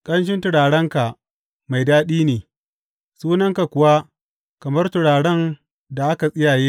Ƙanshin turarenka mai daɗi ne; sunanka kuwa kamar turaren da aka tsiyaye ne.